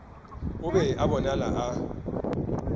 o be a bonala a